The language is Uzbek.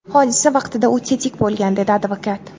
Hodisa vaqtida u tetik bo‘lgan”, − dedi advokat.